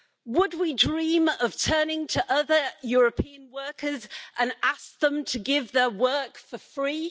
Would we dream of turning to other European workers and asking them to give their work for free?